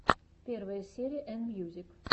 первая серия энмьюзик